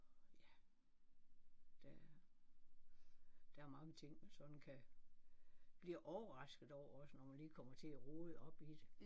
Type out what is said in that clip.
Ja der der er mange ting man sådan kan blive overrasket over også når man lige kommer til at rode op i det